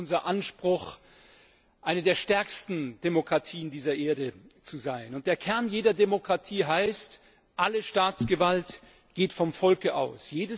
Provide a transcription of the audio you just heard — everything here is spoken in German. Es ist unser Anspruch, eine der stärksten Demokratien der Erde zu sein, und der Kern jeder Demokratie heißt Alle Staatsgewalt geht vom Volke aus.